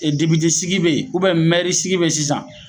E depite sigi be ye ubɛn mɛri sigi be ye sisan